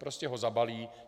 Prostě ho zabalí.